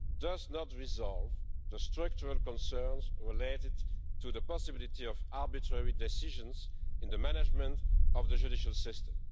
does not resolve the structural concerns related to the possibility of arbitrary decisions in the management of the judicial system.